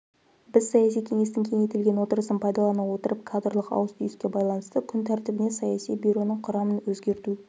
біз саяси кеңестің кеңейтілген отырысын пайдалана отырып кадрлық ауыс-түйіске байланысты күн тәртібіне саяси бюроның құрамын өзгерту